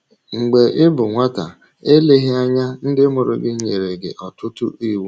MGBE ị bụ nwata, eleghị anya ndị mụrụ gị nyere gị ọtụtụ iwu.